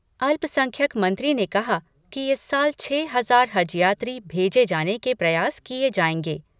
अल्पसंख्यक मंत्री ने कहा कि इस साल छः हजार हज यात्री भेजे जाने के प्रयास किये जायेंगे।